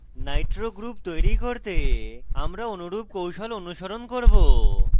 nitro group তৈরি করতে আমরা অনুরূপ কৌশল অনুসরণ করব